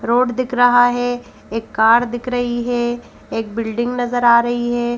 Road दिख रहा है एक कार दिख रही है एक बिल्डिंग नजर आ रही है।